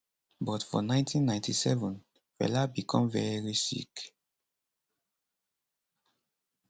but for 1997 fela become very sick